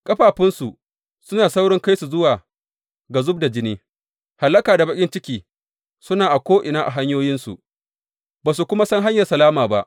Ƙafafunsu suna saurin kai su zuwa ga zub da jini; hallaka da baƙin ciki suna ko’ina a hanyoyinsu, ba su kuma san hanyar salama ba.